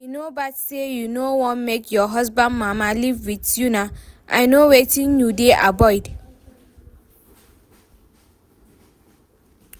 E no bad say you no wan make your husband mama live with una, I know wetin you dey avoid